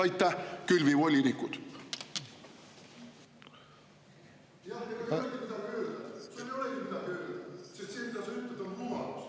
Aitäh, külvivolinikud!